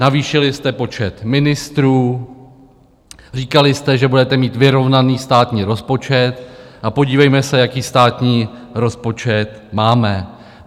Navýšili jste počet ministrů, říkali jste, že budete mít vyrovnaný státní rozpočet, a podívejme se, jaký státní rozpočet máme.